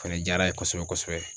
Fɛnɛ diyara a ye kosɛbɛ kosɛbɛ.